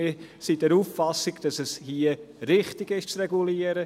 Wir sind der Auffassung, dass es hier richtig ist, zu regulieren.